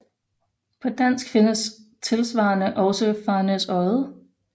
På dansk findes tilsvarende også Farnæsodde